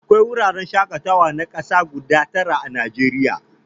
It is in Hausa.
Akwai wuraren shakatawa na kasa guda tara a Najeriya.